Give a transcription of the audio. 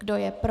Kdo je pro?